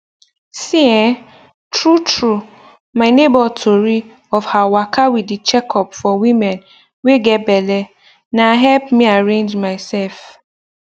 see[um]true true my neighbor tori of her waka with the checkup for women wey get belle na help me arrange myself